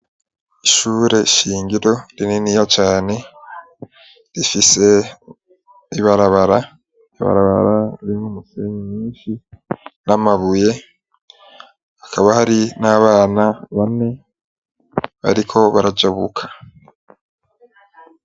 Ishure shingiro rininiya cane rifise ibarabara ibarabara irin'umufemi minshi n'amabuye hakaba hari n'abana bane, ariko barajabuka.